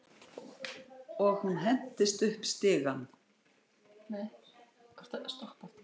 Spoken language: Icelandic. Og hún hentist upp stigann.